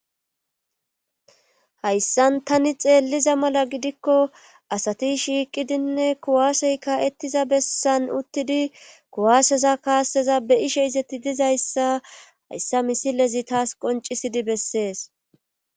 hayssan tani xeelliza mala gidikko asati shiiqidinne kuwaasey ka7ettiza bessan uttidi kuwaaseza kaasseza beyishe izetti dizayssa hayssa misilezi taas qoncisidi bessees